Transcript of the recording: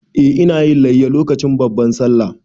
Eh, ina yin layya lokacin babban Sallah.